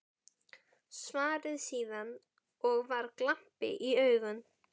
Svaraði síðan, og var glampi í augunum